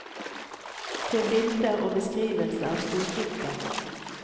Se bilder og beskrivelse av storhytta.